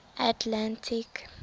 atlantic